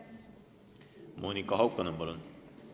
Monika Haukanõmm, palun!